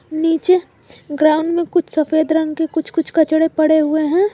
नीचे ग्राउंड में कुछ सफेद रंग के कुछ कुछ कचड़े पड़े हुए हैं।